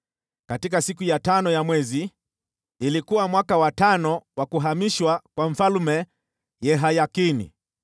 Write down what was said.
Katika siku ya tano ya mwezi, ilikuwa mwaka wa tano wa kuhamishwa kwa Mfalme Yehayakini,